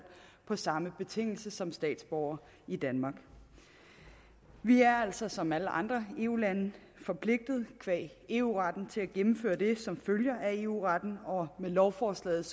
på samme betingelser som statsborgere i danmark vi er altså som alle andre eu lande forpligtet qua eu retten til at gennemføre det som følger af eu retten og med lovforslaget